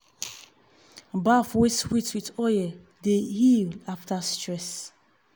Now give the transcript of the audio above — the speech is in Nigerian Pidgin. bath wey sweet with oil dey heal after stress.